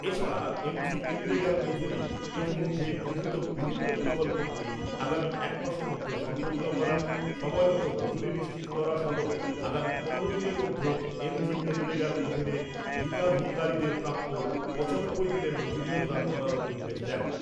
এছাড়া, এমজিএনরেগার অধীনে ইতিমধ্যে গৃহীত বিভিন্ন প্রকল্পগুলি আগামী একমাসের মধ্যে সম্পূর্ণ করা, সময়মতো মজুরি নিশ্চিত করা সহ আগামী পনেরো দিনের মধ্যে এমজিএনরেগার অধীনে হিতাধিকারীদের প্রাপ্য পঁচানব্বই দিনের মজুরি প্রদান করারও নির্দেশ দেন।